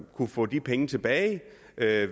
kunne få de penge tilbage